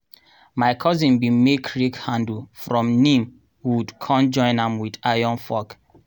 my cousin bin make rake handle from neem wood con join am with iron fork.